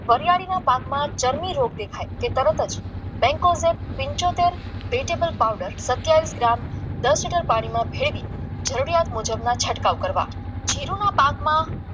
વરીયાળીના પાકમાં ચરબી રોગ દેખાય કે તરત જ બેંકોમાં પંચોતેર વેઝેબલ પાવડર સત્યાવીસ ગ્રામ દસ લીટર પાણીમાં ભેળવી જરૂરિયાત મુજબના છંટકાવ કરવા જીરૂના પાકમાં